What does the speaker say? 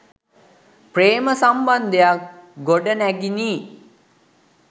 ප්‍රේම සම්බන්ධයක්‌ ගොඩනැගිනි.